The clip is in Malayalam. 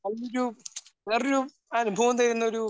അതിൽ ഒരു വേറൊരു അനുഭവം തരുന്നൊരു